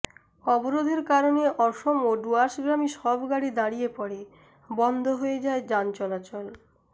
অবরোধের কারনে অসম ও ডুয়ার্সগামী সব গাড়ি দাঁড়িয়ে পড়ে বন্ধ হয়ে যায় যান চলাচল